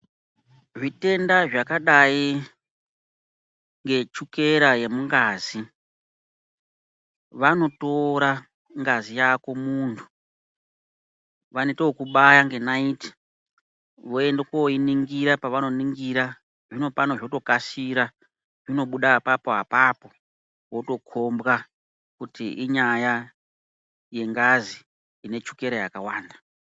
Zvitenda zvakadai ngechukera yemungazi, vanotora ngazi yako muntu. Vanoitokubaya ngenaiti voende koiningira pavanoningira. Zvino pano zvotokasira zvinobuda apapo apapo wotokombwa kuti inyaya yengazi ine chukera yakawanda.